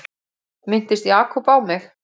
Minntist Jakob á mig?